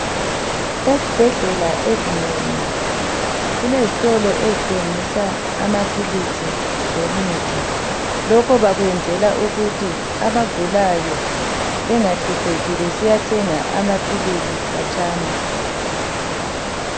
Ezibhedlela ezinengi kulezitolo ezithengisa amaphilisi lemithi. Lokho bakwenzela ukuthi abagulayo bengahlupheki besiya thenga amaphilisi khatshana.